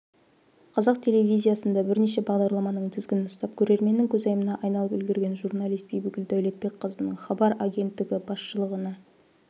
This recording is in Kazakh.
қазақ телевизиясында бірнеше бағдарламаның тізгінін ұстап көрерменнің көзайымына айналып үлгерген журналист бибігүл дәулетбекқызының хабар агенттігі басышылығына